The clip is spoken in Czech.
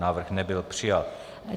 Návrh nebyl přijat.